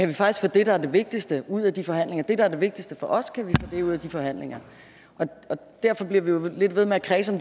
vi faktisk få det der er det vigtigste ud af de forhandlinger det der er det vigtigste for os ud af de forhandlinger derfor bliver vi jo lidt ved med at kredse